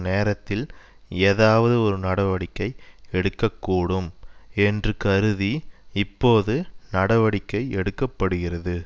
நேரத்தில் ஏதாவது நடவடிக்கை எடுக்கக்கூடும் என்று கருதி இப்போது நடவடிக்கை எடுக்க படுகிறது